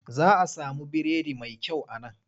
Za a samu biredi mai kyau a nan.